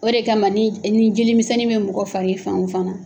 O de kama ma ni ni jelimisɛnnin bɛ mɔgɔ fari fan o fan na,